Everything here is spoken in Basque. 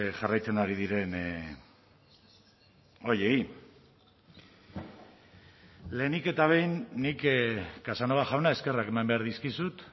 jarraitzen ari diren horiei lehenik eta behin nik casanova jauna eskerrak eman behar dizkizut